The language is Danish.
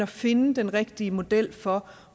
finde den rigtige model for